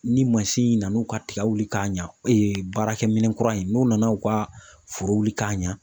Ni mansin nana u ka tiga wuli k'a ɲa baarakɛminɛn kura in , n'u nana u ka foro wuli k'a